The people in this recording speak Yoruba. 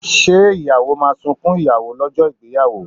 Ṣé ìyàwó máa sunkún ìyàwó lọ́jọ́ ìgbéyàwó?